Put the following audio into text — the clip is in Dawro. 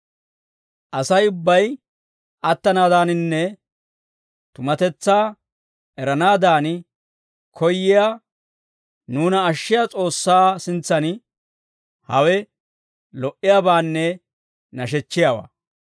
Asay ubbay attanaadaaninne tumatetsaa eranaadan koyyiyaa nuuna ashshiyaa S'oossaa sintsan hawe lo"iyaabaanne nashechchiyaawaa.